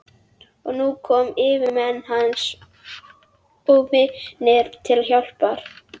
Og nú komu yfirmenn hans og vinir til hjálpar.